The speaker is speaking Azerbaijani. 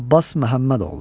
Abbas Məhəmmədoğlu.